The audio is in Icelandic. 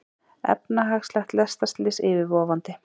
Efnahagslegt lestarslys yfirvofandi